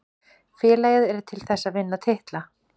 Félagið er til þess að vinna titla.